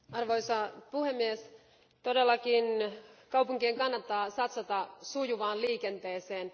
Arvoisa puhemies, todellakin kaupunkien kannattaa satsata sujuvaan liikenteeseen.